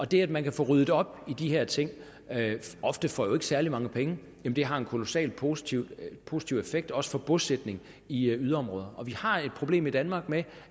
det at man kan få ryddet op i de her ting ofte for særlig mange penge har en kolossalt positiv positiv effekt også for bosætning i yderområderne og vi har et problem i danmark med